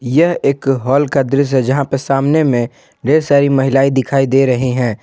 यह एक हॉल का दृश्य है जहां पे सामने में ढेर सारी महिलाएं दिखाई दे रही हैं।